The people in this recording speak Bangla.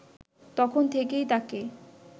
তখন থেকেই তাকে